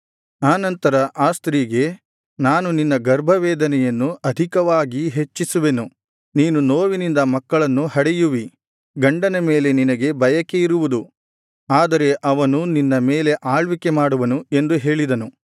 ಆ ನಂತರ ಆ ಸ್ತ್ರೀಗೆ ನಾನು ನಿನ್ನ ಗರ್ಭವೇದನೆಯನ್ನು ಅಧಿಕವಾಗಿ ಹೆಚ್ಚಿಸುವೆನು ನೀನು ನೋವಿನಿಂದ ಮಕ್ಕಳನ್ನು ಹಡೆಯುವಿ ಗಂಡನ ಮೇಲೆ ನಿನಗೆ ಬಯಕೆ ಇರುವುದು ಆದರೆ ಅವನು ನಿನ್ನ ಮೇಲೆ ಆಳ್ವಿಕೆ ಮಾಡುವನು ಎಂದು ಹೇಳಿದನು